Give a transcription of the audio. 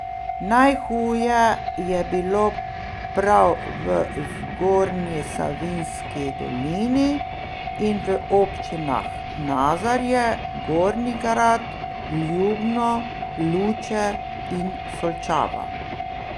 Najhuje je bilo prav v Zgornji Savinjski dolini in v občinah Nazarje, Gornji Grad, Ljubno, Luče in Solčava.